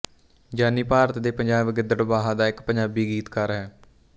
ਜਾਨੀ ਭਾਰਤ ਦੇ ਪੰਜਾਬ ਗਿੱਦੜਬਾਹਾ ਦਾ ਇੱਕ ਪੰਜਾਬੀ ਗੀਤਕਾਰ ਹੈ